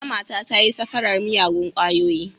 Wata mata ta yi safarar miyagun ƙwayoyi.